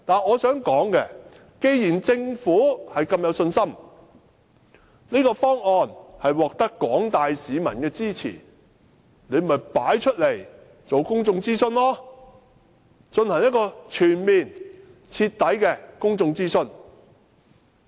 我想說的是，既然政府如此有信心，指這個方案獲得廣大市民支持，便應進行公眾諮詢，進行全面及徹底的公眾諮詢。